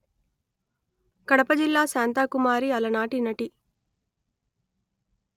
కడప జిల్లాశాంతకుమారి అలనాటి నటి